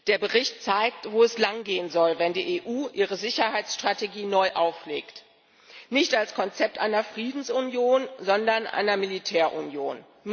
Der Bericht zeigt, wo es lang gehen soll, wenn die EU ihre Sicherheitsstrategie neu auflegt nicht als Konzept einer Friedensunion, sondern einer Militärunion.